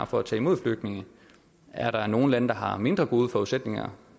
for at tage imod flygtninge er der nogle lande der har mindre gode forudsætninger